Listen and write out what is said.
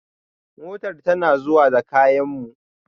Motar tana zuwa da kayan mu